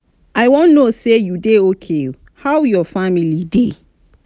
i wan know say you dey okay how your family dey?